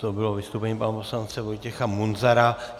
To bylo vystoupení pana poslance Vojtěcha Munzara.